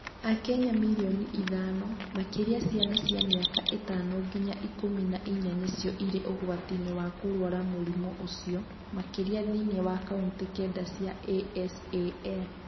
Akenya milioni ithano, makĩria ciana cia mĩaka ĩtano nginya ikũmi na inya nĩcio irĩ ũgwati-inĩ wa kũrũara mũrimũ ũcio, makĩria thĩinĩ wa kaunti kenda cia ASAL.